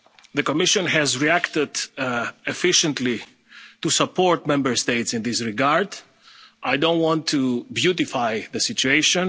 The Commission has reacted efficiently to support Member States in this regard. I don't want to beautify the